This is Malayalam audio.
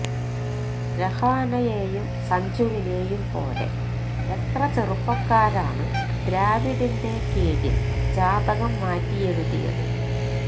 രഹാനെയെയും സഞ്ജുവിനെയും പോലെ എത്ര ചെറുപ്പക്കാരാണ് ദ്രാവിഡിന്റെ കീഴില് ജാതകം മാറ്റിയെഴുതിയത്